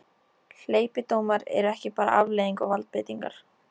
Hleypidómar eru ekki bara afleiðing valdbeitingar.